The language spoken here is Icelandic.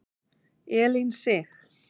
Elín Sig.